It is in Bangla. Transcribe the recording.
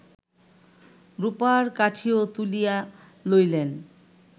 রূপার কাঠিও তুলিয়া লইলেন্